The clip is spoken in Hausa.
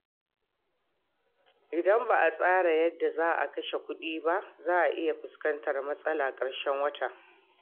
Idan ba a tsara yadda za a kashe kuɗi ba, za a iya fuskantar matsalar a karshen wata.